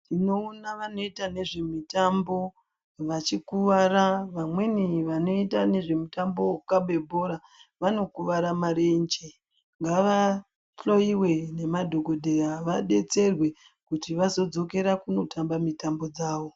Tinoona vanoita nezve miyambo vachikuwara vamweni vanoite nezve mutambo wekukabe bhora vanokuwara marenje ngavahloyiwe ngemadhokodheya vabetserwe kuti vazodzokere kunotamba mitambo dzavo